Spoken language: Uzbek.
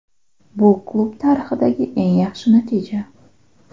Bu klub tarixidagi eng yaxshi natija.